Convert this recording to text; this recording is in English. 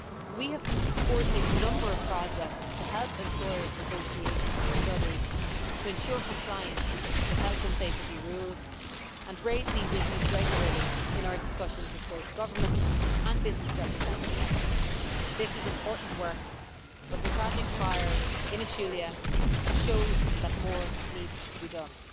We have been supporting a number of projects to help employers' associations and others to ensure compliance with health and safety rules, and we raise these issues regularly in our discussions with both government and business representatives. This is important work, but the tragic fire in Ashulia shows that more needs to be done.